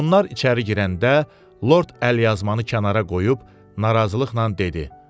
Onlar içəri girəndə, Lord əlyazmanı kənara qoyub narazılıqla dedi: